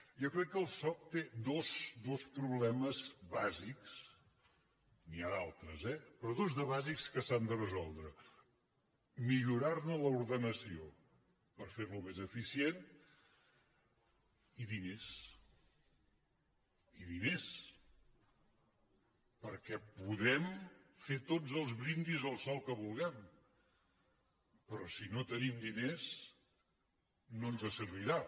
jo crec que el soc té dos problemes bàsics n’hi ha d’altres eh però dos de bàsics que s’han de resoldre millorar·ne l’ordenació per fer·lo més eficient i diners i diners perquè podem fer tots els brindis al sol que vulguem però si no tenim diners no ens servirà